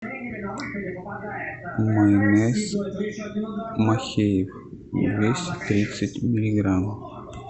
майонез махеев двести тридцать миллиграмм